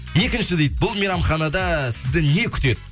екінші дейді бұл мейрамханада сізді не күтеді